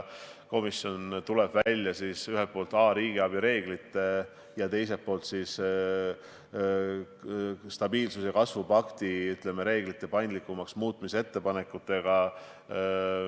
Komisjon tuleb välja ühelt poolt riigiabi reeglite ja teiselt poolt stabiilsuse ja kasvu pakti reeglite paindlikumaks muutmise ettepanekutega.